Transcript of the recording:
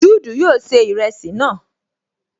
Juudu yóò ṣe ìrẹsì náà